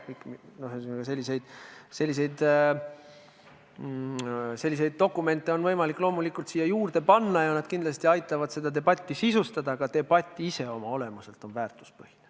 Ühesõnaga, selliseid dokumente on loomulikult võimalik siia juurde panna ja need kindlasti aitavad seda debatti sisustada, aga debatt ise oma olemuselt on väärtuspõhine.